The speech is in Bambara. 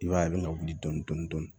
I b'a ye a bɛ ka wuli dɔɔni dɔɔni